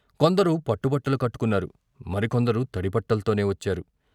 కొందరు పట్టుబట్టలు కట్టుకున్నారు, మరికొందరు తడి బట్టల్తోనే వచ్చారు.